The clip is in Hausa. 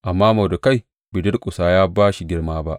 Amma Mordekai bai durƙusa ya ba shi girma ba.